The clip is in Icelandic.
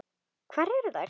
Hvar eru þær?